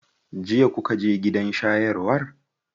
Jiya kuka je gidan shayarwar?